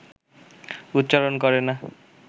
উচ্চারণ করে না